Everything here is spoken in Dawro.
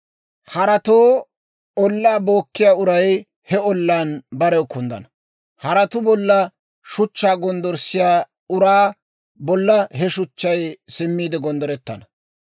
Haratoo ollaa bookkiyaa uray he ollaan barew kunddana; haratuu bolla shuchchaa gonddorssiyaa uraa bolla he shuchchay simmiide gonddorettana.